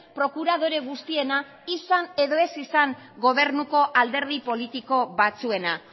prokuradore guztiena izan edo ez izan gobernuko alderdi politiko batzuena